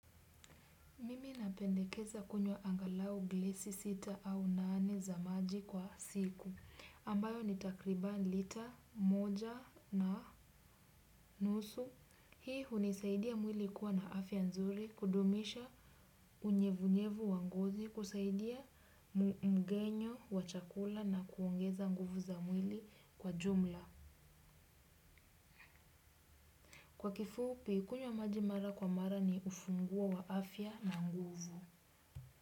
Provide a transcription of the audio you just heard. Mimi napendekeza kunywa angalau gilasi sita au nane za maji kwa siku, ambayo ni takriban lita, moja na nusu. Hii hunisaidia mwili kuwa na afya nzuri, kudumisha unyevunyevu wa ngozi, kusaidia mgenyo wa chakula na kuongeza nguvu za mwili kwa jumla. Kwa kifupi, kunywa maji mara kwa mara ni ufunguo wa afya na nguvu.